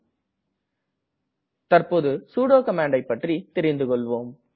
நாம் தற்ப்போது சுடோ கமாண்ட்டை பற்றி தெரிந்து கொள்வோம்